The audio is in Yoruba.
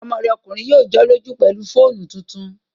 Ọmọ rẹ̀ ọkùnrin yóò jọ́lọ́jú pẹ̀lú fóònù tuntun